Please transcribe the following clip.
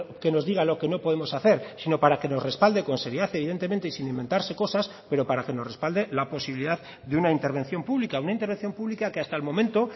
que nos diga lo que no podemos hacer sino para que nos respalde con seriedad evidentemente y sin inventarse cosas pero para que nos respalde la posibilidad de una intervención pública una intervención pública que hasta el momento